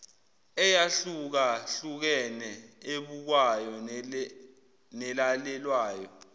eyahlukahlukene ebukwayo nelalelwayo